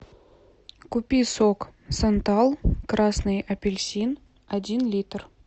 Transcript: купи сок сантал красный апельсин один литр